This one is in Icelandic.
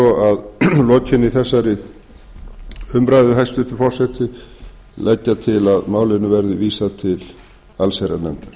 að lokinni þessari umræðu hæstvirtur forseti leggja til að málinu verði vísað til allsherjarnefndar